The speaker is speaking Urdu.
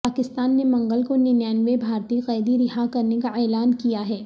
پاکستان نے منگل کو ننانوے بھارتی قیدی رہا کرنے کا اعلان کیا ہے